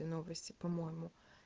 и новости по моему